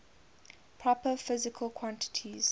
proper physical quantities